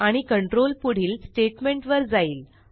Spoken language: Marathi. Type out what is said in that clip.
आणि कंट्रोल पुढील स्टेटमेंटवर जाईल